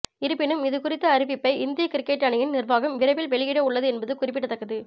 இருப்பினும் இதுகுறித்த அறிவிப்பை இந்திய கிரிக்கெட் அணியின் நிர்வாகம் விரைவில் வெளியிட உள்ளது என்பது குறிப்பிடத்தக்கது